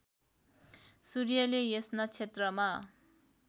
सूर्यले यस नक्षत्रमा